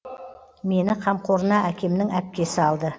мені қамқорына әкемнің әпкесі алды